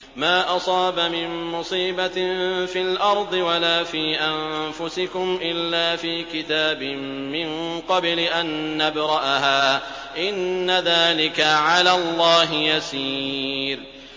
مَا أَصَابَ مِن مُّصِيبَةٍ فِي الْأَرْضِ وَلَا فِي أَنفُسِكُمْ إِلَّا فِي كِتَابٍ مِّن قَبْلِ أَن نَّبْرَأَهَا ۚ إِنَّ ذَٰلِكَ عَلَى اللَّهِ يَسِيرٌ